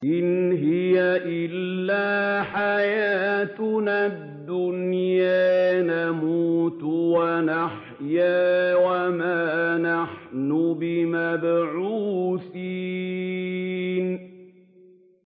إِنْ هِيَ إِلَّا حَيَاتُنَا الدُّنْيَا نَمُوتُ وَنَحْيَا وَمَا نَحْنُ بِمَبْعُوثِينَ